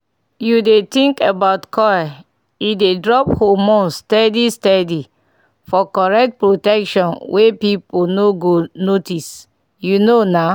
u dey think about coil e dey drop hormones steady steady -for correct protection wey people no go notice. u know na